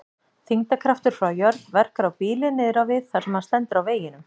Þyngdarkraftur frá jörð verkar á bílinn niður á við þar sem hann stendur á veginum.